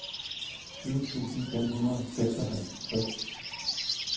tyve tusind fem hundrede og seksoghalvtreds